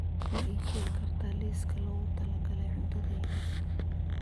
ma ii sheegi kartaa liiska loogu talagalay cuntadayda